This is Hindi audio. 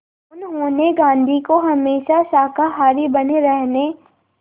उन्होंने गांधी को हमेशा शाकाहारी बने रहने